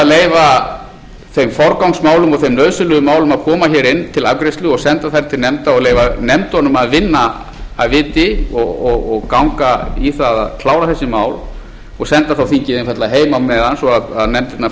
leyfa þeim forgangsmálum og þeim nauðsynlegu málum að koma hér inn til afgreiðslu og senda þau til nefnda og leyfa nefndunum að vinna af viti og ganga í það að klára þessi mál og senda þá þingið einfaldlega heim á meðan svo að nefndirnar